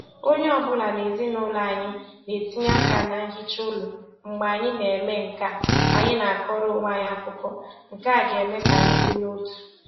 Onye ọbụla n'ezinụlọ anyị na-etinye aka na nhicha ụlọ, mgbe anyị na-eme nkea anyị na-akọrọ onwe anyị akụkọ, nke a ga-eme k'anyi dị n'otu.